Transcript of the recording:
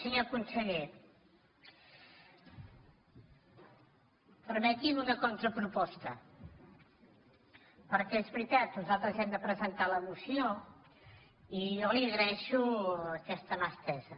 senyor conseller permeti’m una contraproposta perquè és veritat nosaltres hem de presentar la moció i jo li agraeixo aquesta mà estesa